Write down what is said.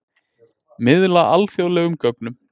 Miðla alþjóðlegum gögnum